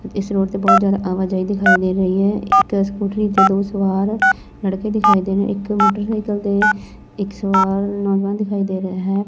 ਇਸ ਰੋਡ ਤੇ ਬਹੁਤ ਜਿਆਦਾ ਆਵਾਜਾਈ ਦਿਖਾਈ ਦੇ ਰਹੀ ਹੈ ਇੱਕ ਸਕੂਟਰੀ ਤੇ ਦੋ ਸਵਾਰ ਲੜਕੇ ਦਿਖਾਈ ਦੇ ਰਹੇ ਨੇ ਇੱਕ ਮੋਟਰਸਾਈਕਲ ਤੇ ਇੱਕ ਸਵਾਰ ਨੌਜਵਾਨ ਦਿਖਾਈ ਦੇ ਰਹੇ ਹੈ।